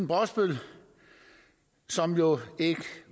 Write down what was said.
brosbøl som jo ikke